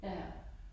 Ja